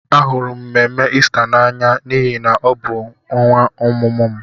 Ahụrụ m mmemme Ista n'anya n'ihi na ọ bụ ọnwa ọmụmụ m.